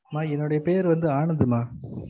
எம்மா என்னுடைய பேர் வந்து ஆனந்துமா